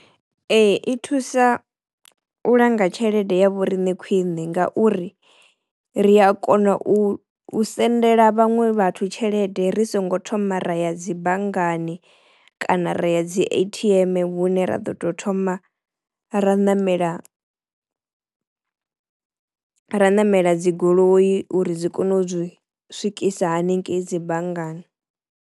Ee i thusa u langa tshelede ya vhoriṋe khwine ngauri ri a kona u u sendela vhaṅwe vhathu tshelede ri songo thoma ra ya dzi banngani kana ra ya dzi A_T_M hune ra ḓo to thoma ra ṋamela ra ṋamela dzi goloi uri dzi kono u zwi swikisa haningei dzi banngani.